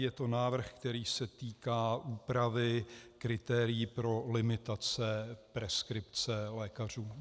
Je to návrh, který se týká úpravy kritérií pro limitace preskripce lékařů.